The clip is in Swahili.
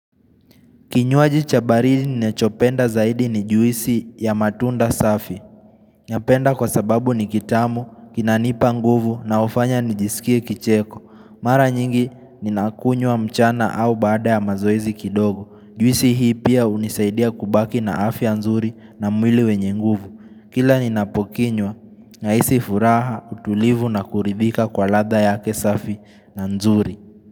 Kinyuaji cha baridi ninachopenda zaidi ni juisi ya matunda safi. Napenda kwa sababu ni kitamu, kinanipa nguvu na hufanya nijisikia kicheko. Mara nyingi ninakunywa mchana au baada ya mazoezi kidogo. Juisi hii pia hunisaidia kubaki na afya nzuri na mwili wenye nguvu. Kila ninapokinywa, nahisi furaha, utulivu na kuridhika kwa ladha ya safi na nzuri.